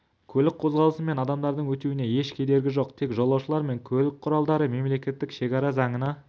көлік қозғалысы мен адамдардың өтуіне еш кедергі жоқ тек жолаушылар мен көлік құралдары мемлекеттік шекара заңына